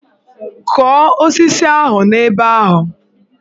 Kụọ osisi ahụ n'ebe ahụ!